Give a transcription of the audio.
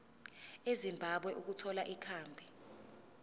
ezimbabwe ukuthola ikhambi